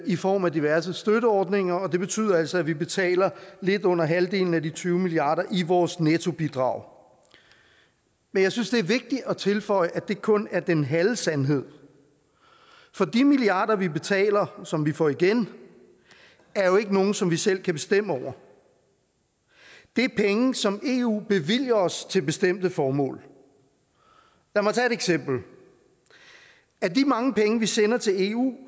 i form af diverse støtteordninger det betyder altså at vi betaler lidt under halvdelen af de tyve milliarder i vores nettobidrag men jeg synes det er vigtigt at tilføje at det kun er den halve sandhed for de milliarder vi betaler og som vi får igen er jo ikke nogen som vi selv kan bestemme over det er penge som eu bevilger os til bestemte formål lad mig tage et eksempel af de mange penge vi sender til eu